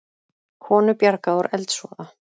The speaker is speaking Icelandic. Konu bjargað úr eldsvoða